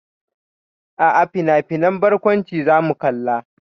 A'a, finafinan barkwanci zamu kalla.